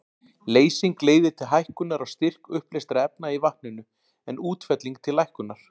Leysing leiðir til hækkunar á styrk uppleystra efna í vatninu, en útfelling til lækkunar.